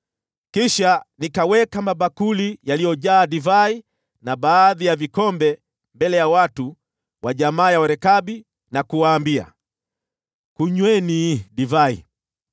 Kisha nikaweka mabakuli yaliyojaa divai na baadhi ya vikombe mbele ya watu wa jamaa ya Warekabi na kuwaambia, “Kunyweni divai.”